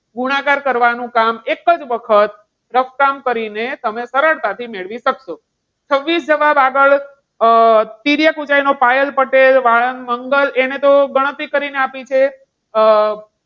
ગુણાકાર કરવાનું કામ એક જ વખત રફ કામ કરીને તમે સરળતાથી મેળવી શકશો. છવ્વીસ જવાબ આગળનો, તિર્યક ઊંચાઈ પાયલ પટેલ વાળંદ મંગલ એને તો ગણતરી કરીને આપેલ છે અમ